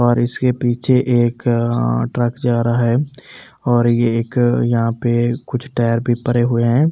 और इसके पीछे एक अ ट्रक जा रहा है और ये एक यहां पे कुछ टायर भी परे हुए हैं।